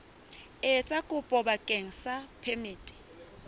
etsa kopo bakeng sa phemiti